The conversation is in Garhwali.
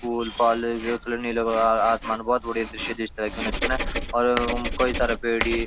फूल-फाल नि लगा आसमान बहौत बडिया दृश्य और काई सारा पेड़ी।